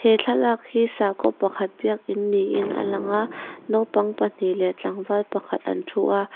he thlalak hi sakhaw pakhat biakin niin a lang a naupang pahnih leh tlangval pakhat an thu a.